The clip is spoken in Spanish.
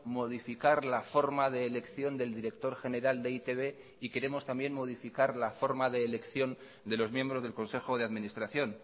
modificar la forma de elección del director general de e i te be y queremos también modificar la forma de elección de los miembros del consejo de administración